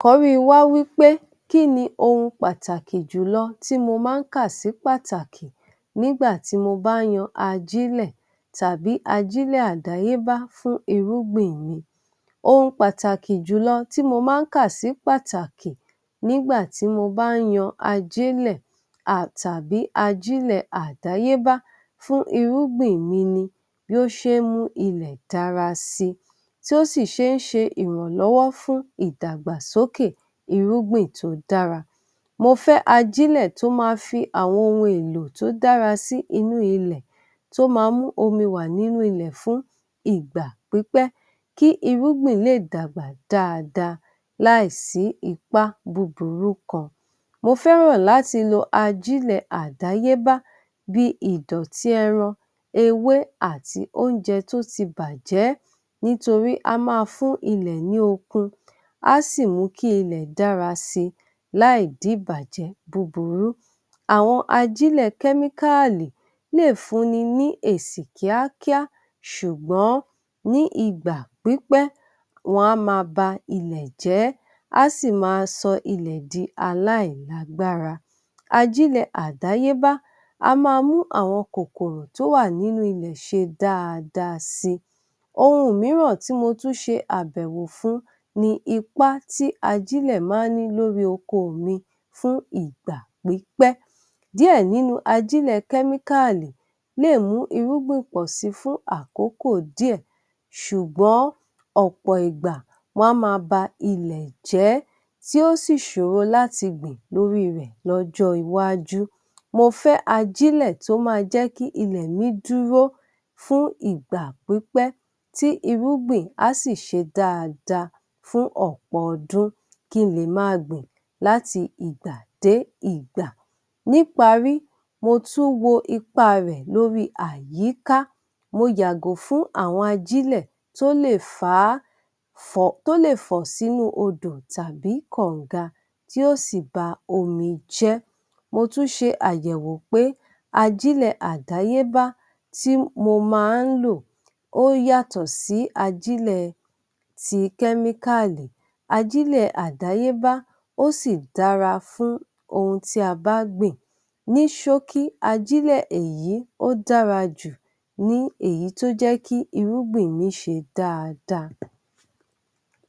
àkọ̀rí wa wípé kíni ohun pàtàkì jùlọ tí mo ma ń kà sí pàtàkì nígbàtí mo bá ń yan ajílẹ̀ tàbí ajílẹ̀ àdáyébá fún irúgbìn mi. Ohun pàtàkì jùlọ tí mo ma ń kà sí pàtàkì nígbàtí mo bá ń yan ajílẹ̀ à tàbí ajílẹ̀ àdáyébá fún irúgbìn mi ni bí ó ṣe ń mú ilẹ̀ dára si tí ó ṣì ṣe ń ṣe ìrànlọwọ fún ìdàgbàsókè irúgbìn tó dára. Mo fẹ́ ajílẹ̀ tó má fi àwọn ohun èlò tó dára sí inú ilẹ̀ tó ma mú omi wà nínú ilẹ́ fún ìgbà pípẹ́ kí irúgbìn lè dàgbà dáadáa láì sí ipá búburú kan. Mo fẹ́ràn láti lò ajílẹ̀ àdáyébá bíi ìdọ̀tí ẹran, ewé àti oúnjẹ tó ti bàjẹ́ nítorí a má a fún ilẹ̀ ní okun, á sì mú kí ilẹ̀ dára si láì dí ìbàjẹ́ búburú. Àwọn ajílẹ̀ kẹ́míkálì léè fún ni ní èsì kíákíá ṣùgbọ́n ní ìgbà pípẹ́, wọn á má a ba ilẹ̀ jẹ́, á sì ma sọ ilẹ̀ di aláìlágbára. Ajílẹ̀ àdáyébá a má a mú àwọn kòkòrò tó wà nínú ilẹ̀ ṣe daadaa si. Ohun mìíràn tí mo tún ṣe àbẹ̀wò fún ni ipá tí ajílẹ̀ ma ń ní lórí oko mi fún ìgbà pípẹ́. Díẹ̀ nínú ajílẹ̀ kẹ́míkálì lè mu irúgbìn pọ̀ si fún àkókò díẹ̀ ṣùgbọ́n ọ̀pọ̀ ìgbà, wọn á má a ba ilẹ̀ jẹ́ tí ó ṣì ṣòro láti gbìn lórí rẹ̀ lọ́jọ́ iwájú. Mo fẹ́ ajílẹ̀ tó má a jẹ́ kí ilẹ̀ mi dúró fún ìgbà pípẹ́ tí irúgbìn, á ṣì ṣe dáadáa fún ọ̀pọ̀ ọdún kí n lè ma a gbìn láti ìgbà dé ìgbà. Ní’parí mo tún wo ipá rẹ̀ lóríi àyíká, mo yàgò fún àwọn ajílẹ̀ tó ń lè fàá, fọ̀ tó lè fọ̀ sínú odò tàbí kàǹga kí ó sì ba omi jẹ́. Mo tún ṣe àyẹ̀wò pé ajílẹ̀ àdáyébá tí mo ma ń lò, ó yàtọ̀ sí ajílẹ̀ tí kẹ́míkàlì, ajílẹ̀ àdáyébá ó sì dára fún ohun tí a bá gbìn. Ní ṣókí ajílẹ̀ èyí ó dára jù ní èyí tó jẹ́ kí irúgbìn mi ṣe dáadáa.